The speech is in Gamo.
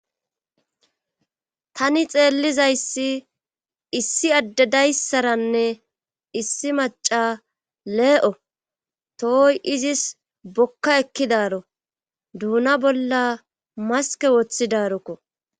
tani xeellizayssi issi addedayssaranne issi maca lee7o tohoy izis bokka ekkidaaro duuna bolla maske woththidaarokko